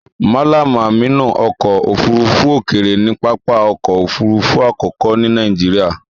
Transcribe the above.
Mallam amnu ọkọ ofurufu okeere ni papa ọkọ òfurufú àkókò ni Nàìjíríà.